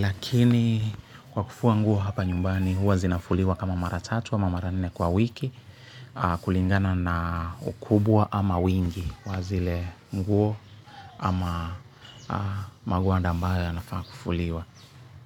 Lakini kwa kufua nguo hapa nyumbani huwa zinafuliwa kama mara tatu wa mara nne kwa wiki. Kulingana na ukubwa ama wingi. Wa zile nguo ama magwanda ambayo yanafaa kufuliwa.